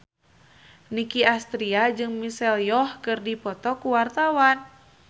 Nicky Astria jeung Michelle Yeoh keur dipoto ku wartawan